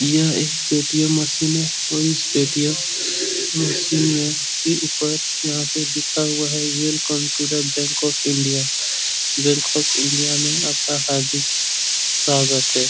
यह एक Paytm machine और इस पेटीयम मशीन में के ऊपर यहाँ पे लिखा हुआ है welcome to the bank of India. Bank of India में आपका हार्दिक स्वागत है।